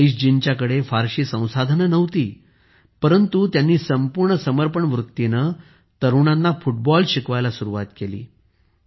रईसजींच्याकडे फारशी संसाधने नव्हती परंतु त्यांनी संपूर्ण समर्पण वृत्तीने तरुणांना फुटबॉल शिकवायला सुरुवात केली